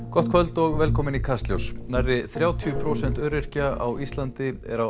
gott kvöld og velkomin í Kastljós nærri þrjátíu prósent öryrkja á Íslandi er á